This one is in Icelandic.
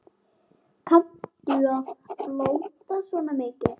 Kanntu að blóta svona mikið?